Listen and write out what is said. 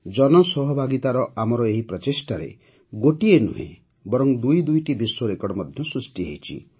ଜନସହଭାଗୀତାର ଆମର ଏହି ପ୍ରଚେଷ୍ଟାରେ ଗୋଟିଏ ନୁହେଁ ବରଂ ଦୁଇ ଦୁଇଟି ବିଶ୍ୱ ରେକର୍ଡ଼ ମଧ୍ୟ ସୃଷ୍ଟି ହୋଇଛି